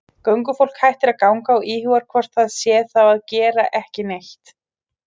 Göngufólk hættir að ganga og íhugar hvort það sé þá að gera ekki neitt.